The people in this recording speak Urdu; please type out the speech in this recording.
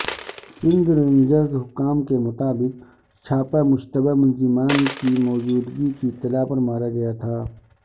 سندھ رینجرز حکام کے مطابق چھاپہ مشتبہ ملزمان کی موجودگی کی اطلاع پرمارا گیا تھا